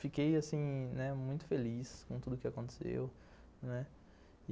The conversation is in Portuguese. Fiquei, assim, né, muito feliz com tudo que aconteceu, não é?